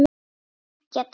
Geggjað dæmi.